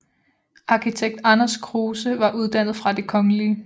Arkitekt Anders Kruuse var uddannet fra Det Kgl